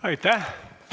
Aitäh!